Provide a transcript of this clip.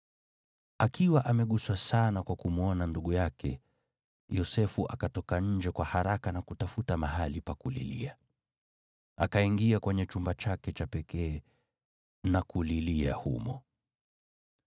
Akiwa ameguswa sana kwa kumwona ndugu yake, Yosefu akatoka nje kwa haraka na kutafuta mahali pa kulilia. Akaingia kwenye chumba chake cha pekee na kulilia humo.